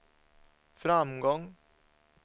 framgång